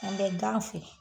An bɛ gan feere